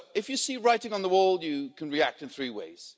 If you see writing on the wall, you can react in three ways.